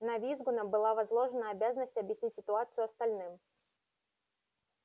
на визгуна была возложена обязанность объяснить ситуацию остальным